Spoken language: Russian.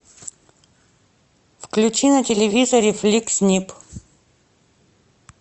включи на телевизоре фликс нип